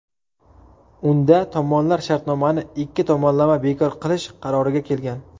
Unda tomonlar shartnomani ikki tomonlama bekor qilish qaroriga kelgan.